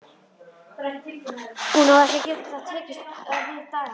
Hún að geta ekki tekist á við dagana.